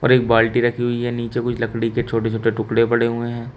एक बाल्टी रखी हुई है नीचे कुछ लड़की के छोटे छोटे टुकड़े पड़े हुए हैं।